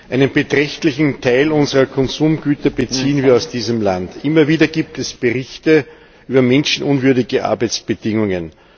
Einen beträchtlichen Teil unserer Konsumgüter beziehen wir aus diesem Land. Immer wieder gibt es Berichte über menschenunwürdige Arbeitsbedingungen.